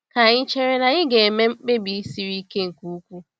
Kà anyị chere na anyị ga-eme mkpebi siri ike nke ukwuu.